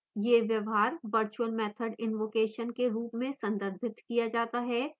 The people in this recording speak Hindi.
यह व्यवहार virtual method invocation के रूप में संदर्भित किया जाता है